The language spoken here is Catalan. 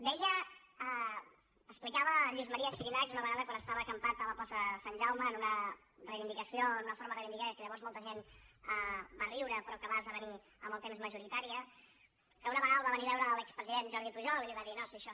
deia explicava el lluís maria xirinacs una vegada quan estava acampat a la plaça de sant jaume en una reivindicació en una forma de reivindicar de què llavors molta gent va riure però que va esdevenir amb el temps majoritària que una vegada el va venir a veure l’expresident jordi pujol i la va dir no si això